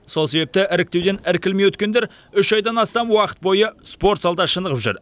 сол себепті іріктеуден іркілмей өткендер үш айдан астам уақыт бойы спорт залда шынығып жүр